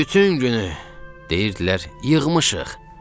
Bütün günü deyirdilər: yığmışıq.